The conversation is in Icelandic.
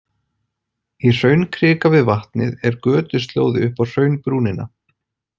Í hraunkrika við vatnið er götuslóði upp á hraunbrúnina.